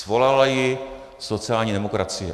Svolala ji sociální demokracie.